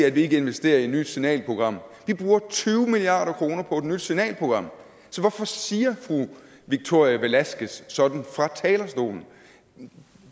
at vi ikke investerer i et nyt signalprogram vi bruger tyve milliard kroner på et nyt signalprogram så hvorfor siger fru victoria velasquez sådan fra talerstolen